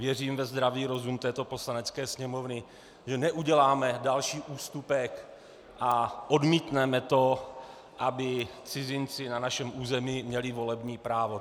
Věřím ve zdravý rozum této Poslanecké sněmovny, že neuděláme další ústupek a odmítneme to, aby cizinci na našem území měli volební právo.